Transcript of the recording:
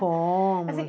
Fomos.